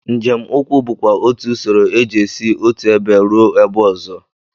Njem ụkwụ bụkwa otú usoro e ji esi otu ebe, ruo ebe ọzọ